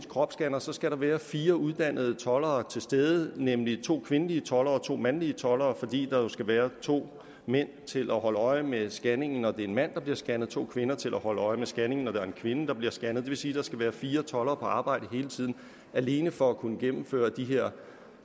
kropsscanner skal der være fire uddannede toldere til stede nemlig to kvindelige toldere og to mandlige toldere fordi der jo skal være to mænd til at holde øje med scanningen når det er en mand der bliver scannet og to kvinder til at holde øje med scanningen når det er en kvinde der bliver scannet det vil sige at der skal være fire toldere på arbejde hele tiden alene for at kunne gennemføre de her